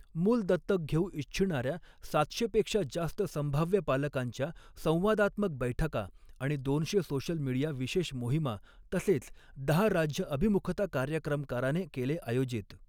मूल दत्तक घेऊ इच्छिणाऱ्या सातशे पेक्षा जास्त संभाव्य पालकांच्या संवादात्मक बैठका आणि दोनशे सोशल मिडिया विशेष मोहिमा तसेच दहा राज्य अभिमुखता कार्यक्रमकाराने केले आयोजित